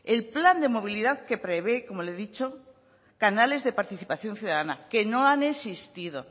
el plan de movilidad que prevé como le he dicho canales de participación ciudadana que no han existido